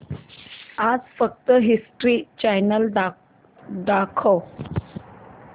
आज फक्त history channel दाखव